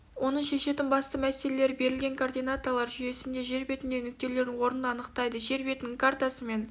оның шешетін басты мәселелері берілген координаталар жүйесінде жер бетіндегі нүктелердің орнын анықтайды жер бетінің картасы мен